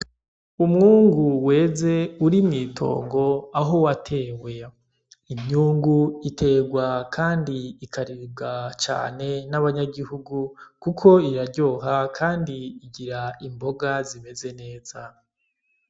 Umwungu weze uri mw'itongo aho watewe, imyungu iterwa kandi ikaribwa cane N’ahantubanyagihugu kuko iraryoha kandi igira imboga zimeze neza.